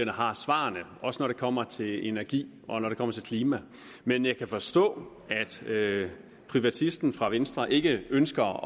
har svarene også når det kommer til energi og når det kommer til klima men jeg kan forstå at privatisten fra venstre ikke ønsker